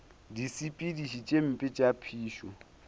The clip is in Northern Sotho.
disepediši tše mpe tša phišo